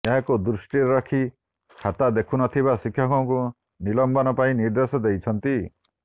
ଏହାକୁ ଦୃଷ୍ଟିରେ ରଖି ଖାତା ଦେଖୁନଥିବା ଶିକ୍ଷକଙ୍କୁ ନିଲମ୍ବନ ପାଇଁ ନିର୍ଦ୍ଦେଶ ଦେଇଛନ୍ତି